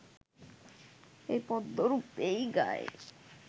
এই পদ্যরূপেই গাই